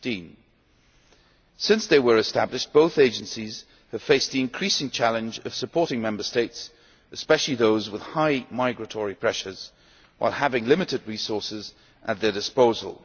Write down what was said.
2015. Since they were established both agencies have faced the increasing challenge of supporting Member States, especially those with high migratory pressures, while having limited resources at their disposal.